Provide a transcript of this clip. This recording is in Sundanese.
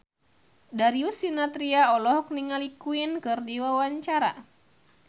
Darius Sinathrya olohok ningali Queen keur diwawancara